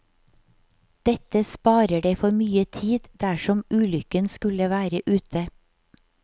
Dette sparer deg for mye tid dersom ulykken skulle være ute.